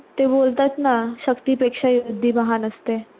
ते बोलतात ना शक्ती पेक्षा युक्ति महान असते.